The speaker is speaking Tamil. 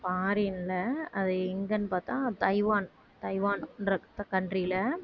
foreign ல அது எங்கேன்னு பார்த்தா தைவான் தைவான்ற country ல